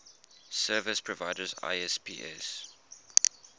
service providers isps